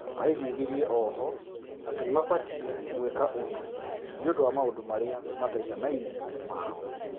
Aiguithirie ohwo atĩ nĩmabatiĩ gũĩka ũndũ nĩũndũ wa maũndũ marĩa mataiganaine mao